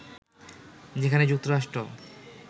যেখানে যুক্তরাষ্ট্র